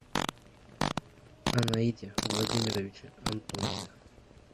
анаите владимировиче антонове